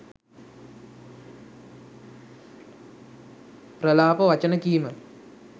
ප්‍රලාප වචන කීම